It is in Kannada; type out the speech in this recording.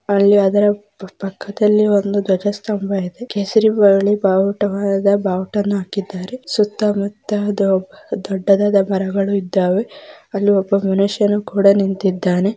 ಅಲ್ಲಿ ಅದರ ಪಕ್ಕದಲಿ ಒಂದು ಧ್ವಜ ಸ್ಟಂಬ ಇದೆ ಕೇಸರಿ ಬಿಳಿ ಬಾವುಟ ಬಾವುಟನ್ ಹಾಕಿ್ದಾರೆ ಸುತ್ತ ಮುತ್ತ ದೊಡ್ಡದಾದ್ ಮರಗಳು ಇದಾವೆ ಅಲ್ಲಿ ಒಬ ಮನುಷ್ಯ ಕೂಡ ನಿಂತಿದಾನೆ.